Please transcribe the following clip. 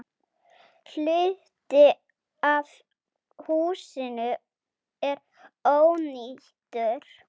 Hluti af húsinu er ónýtur.